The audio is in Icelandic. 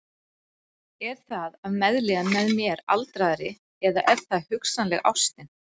Er það af meðlíðan með mér aldraðri eða er það hugsanleg ástin?